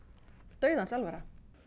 dauðans alvara